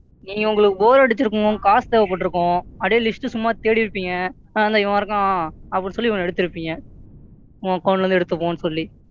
நீங்க உங்களுக்கு Bore அடிச்சுருக்கும். உங்களுக்கு காசு தேவைப்பட்டு இருக்கும். அப்படியே List சும்மா தேடி இருப்பீங்க. ஆ இந்தா இவன் இருக்கான் அப்படின்னு சொல்லி இவன எடுத்து இருப்பீங்க இவன் Account ல இருந்து எடுத்துப்போம்னு சொல்லி,